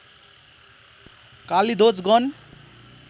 कालीध्वज गण